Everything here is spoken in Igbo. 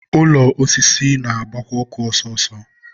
ụlọ osisi ga na-agbakwa ọkụ ọsọ ọsọ